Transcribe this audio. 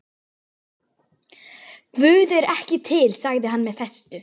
Guð er ekki til sagði hann með festu.